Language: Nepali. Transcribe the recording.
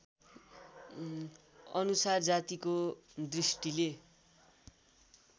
अनुसार जातिको दृष्टिले